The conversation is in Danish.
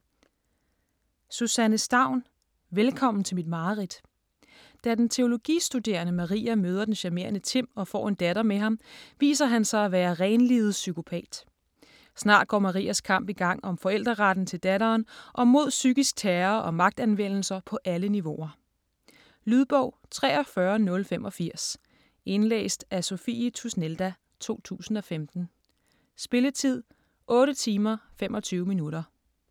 Staun, Susanne: Velkommen til mit mareridt Da den teologistuderende Maria møder den charmerende Timm og får en datter med ham, viser han sig at være renlivet psykopat. Snart går Marias kamp i gang om forældreretten til datteren og mod psykisk terror og magtanvendelser på alle niveauer. Lydbog 43085 Indlæst af Sophie Tusnelda, 2015. Spilletid: 8 timer, 25 minutter.